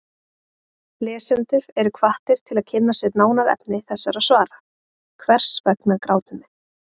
Lesendur eru hvattir til að kynna sér nánar efni þessara svara: Hvers vegna grátum við?